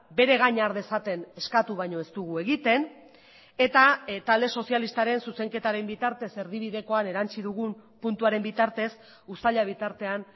bere gain har dezaten eskatu baino ez dugu egiten eta talde sozialistaren zuzenketaren bitartez erdibidekoan erantsi dugun puntuaren bitartez uztaila bitartean